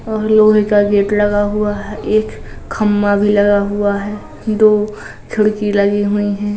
और लोहे का गेट लगा हुआ है। एक खंबा भी लगा हुआ है। दो खिड़की लगी हुईं हैं ।